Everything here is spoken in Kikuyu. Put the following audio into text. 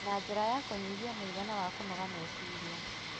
na njĩra ya kũnyihia mũigana wa kũnoga meciria.